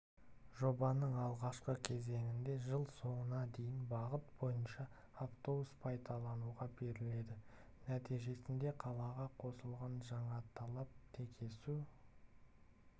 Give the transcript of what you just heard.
жобаның алғашқы кезеңінде жыл соңына дейін бағыт бойынша автобус пайдалануға беріледі нәтижесінде қалаға қосылған жаңаталап текесу